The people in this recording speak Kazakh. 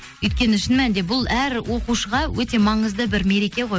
өйткені шын мәнінде бұл әр оқушыға өте маңызды бір мереке ғой